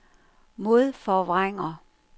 modforvrænger